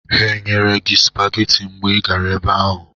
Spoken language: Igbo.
Ha enyere gị sụpageti mgbe ị gara ebe ahụ?